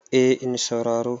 eh in sauraro